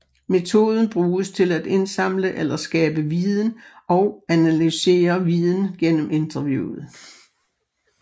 Metoden bruges til at indsamle eller skabe viden og analysere viden gennem interviewet